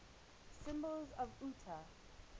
symbols of utah